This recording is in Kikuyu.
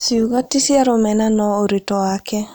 Ciugo ti cia rũmena no ũritũ wake